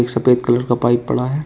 सफेद कलर का पाइप पड़ा है।